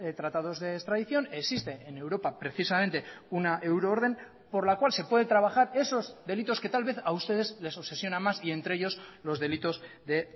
tratados de extradición existe en europa precisamente una euroorden por la cual se puede trabajar esos delitos que tal vez a ustedes les obsesiona más y entre ellos los delitos de